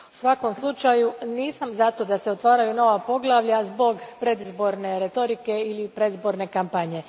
U svakom slučaju, nisam za to da se otvaraju nova poglavlja zbog predizborne retorike ili predizborne kampanje.